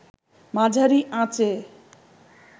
মাঝারি আঁচে